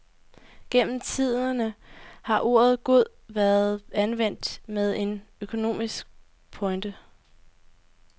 Gennem tiderne har ordet god været anvendt med en økonomisk pointe.